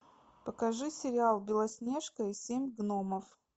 покажи сериал белоснежка и семь гномов